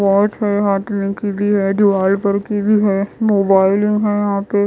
Watch है हाथ में की भी है दिवाल पर की भी है है यहाँ पे।